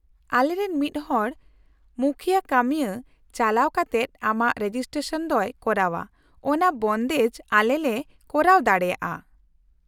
-ᱟᱞᱮᱨᱮᱱ ᱢᱤᱫ ᱦᱚᱲ ᱢᱩᱠᱷᱭᱟᱹ ᱠᱟᱹᱢᱤᱭᱟᱹ ᱪᱟᱞᱟᱣ ᱠᱟᱛᱮᱫ ᱟᱢᱟᱜ ᱨᱮᱡᱤᱥᱴᱨᱮᱥᱚᱱ ᱫᱚᱭ ᱠᱚᱨᱟᱣᱟ ᱚᱱᱟ ᱵᱚᱱᱫᱮᱡ ᱟᱞᱮ ᱞᱮ ᱠᱚᱨᱟᱣ ᱫᱟᱲᱮᱭᱟᱜᱼᱟ ᱾